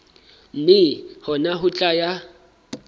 mme hona ho tla ya